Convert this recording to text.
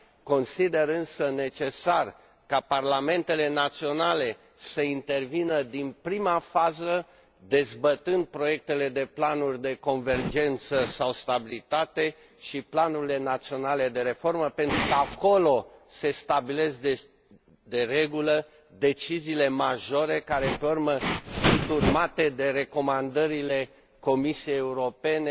Consider însă necesar ca parlamentele naționale să intervină din prima fază, dezbătând proiectele de planuri de convergență sau stabilitate și planurile naționale de reformă, pentru că acolo se stabilesc, de regulă, deciziile majore care, pe urmă, sunt urmate de recomandările Comisiei Europene,